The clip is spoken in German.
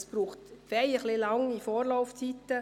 Dafür braucht es ziemlich lange Vorlaufzeiten.